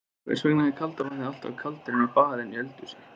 Hvers vegna er kalda vatnið alltaf kaldara inni á baði en í eldhúsi?